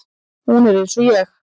Hún er eins og ég.